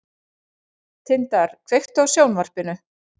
Tindar, kveiktu á sjónvarpinu.